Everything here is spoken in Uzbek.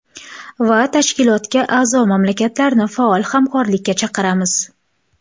Va Tashkilotga a’zo mamlakatlarni faol hamkorlikka chaqiramiz.